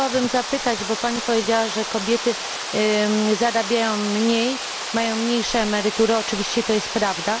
Ja chciałabym zapytać, bo Pani powiedziała, że kobiety zarabiają mniej, mają mniejsze emerytury, oczywiście to jest prawda.